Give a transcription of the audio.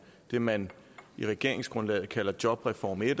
det man i regeringsgrundlaget kalder jobreform i